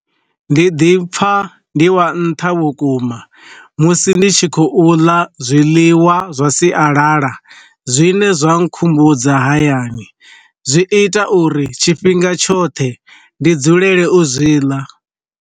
Ndi ḓipfa ndi wa nṱha vhukuma musi ndi tshi khou ḽa zwiḽiwa zwa sialala zwine zwa nkhumbudza hayani, zwi ita uri tshifhinga tshoṱhe ndi dzulele u zwi ḽa.